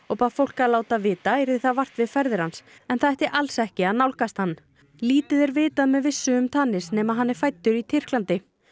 og bað fólk að láta vita yrði það vart við ferðir hans en það ætti alls ekki að nálgast hann lítið er vitað með vissu um nema að hann er fæddur í Tyrklandi